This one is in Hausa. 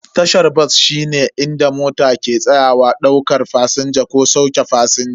Tashar bas shine inda mota ke tsayawa daukar fasinja ko sauke fasinja.